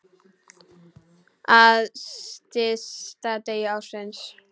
Á stysta degi ársins.